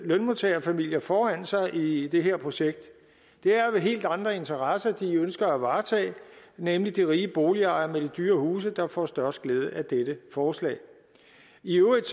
lønmodtagerfamilier foran sig i det her projekt det er jo helt andre interesser de ønsker at varetage det er nemlig de rige boligejere med de dyre huse der får størst glæde af dette forslag i øvrigt